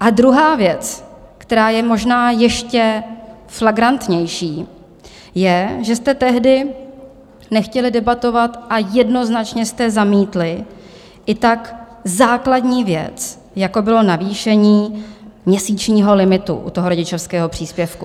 A druhá věc, která je možná ještě flagrantnější, je, že jste tehdy nechtěli debatovat a jednoznačně jste zamítli i tak základní věc, jako bylo navýšení měsíčního limitu u toho rodičovského příspěvku.